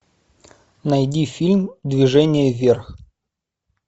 найди фильм движение вверх